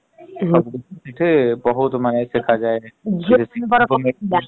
ବହୁତ୍ ମାନେ ଦେଖାଯାଏ